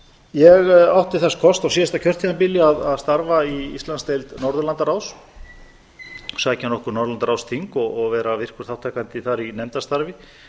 ég átti þess kost á síðasta kjörtímabili að starfa í íslandsdeild norðurlandaráðs sækja nokkur norðurlandaráðsþing og vera virkur þátttakandi þar í nefndarstarfi